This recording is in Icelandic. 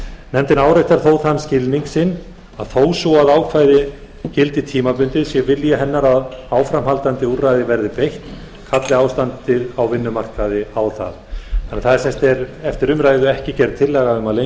nefndin áréttar þó þann skilning sinn að þó svo að ákvæðið gildi tímabundið sé vilji hennar að áframhaldandi úrræðum verði beitt kalli ástandið á vinnumarkaði á það eftir umræðu er ekki gerð tillaga um að lengja